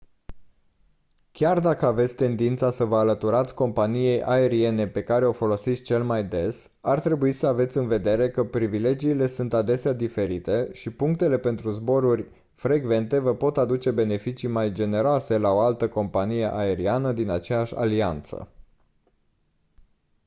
chiar dacă aveți tendința să vă alăturați companiei aeriene pe care o folosiți cel mai des ar trebui să aveți în vedere că privilegiile sunt adesea diferite și punctele pentru zboruri frecvente vă pot aduce beneficii mai generoase la o altă companie aeriană din aceeași alianță